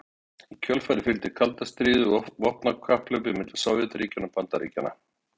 Í kjölfarið fylgdi kalda stríðið og vopnakapphlaupið milli Sovétríkjanna og Bandaríkjanna.